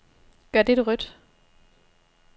Gør dette rødt.